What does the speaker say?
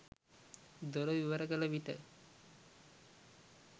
දොර විවර කළ විට